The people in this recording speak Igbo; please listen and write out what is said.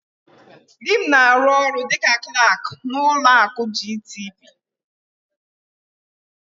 Dị m na-arụ ọrụ dịka Klak n'ụlọ akụ GTB.